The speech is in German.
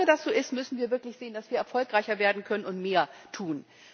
Solange das so ist, müssen wir wirklich sehen, dass wir erfolgreicher werden können, und mehr tun.